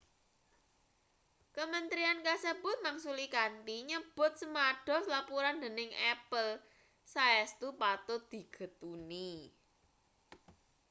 kementerian kasebut mangsuli kanthi nyebut semados lapuran dening apple saestu patut digetuni